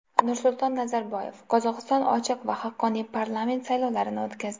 Nursulton Nazarboyev: Qozog‘iston ochiq va haqqoniy parlament saylovlarini o‘tkazdi.